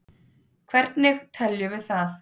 Hvernig teljum við það?